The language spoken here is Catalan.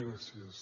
gràcies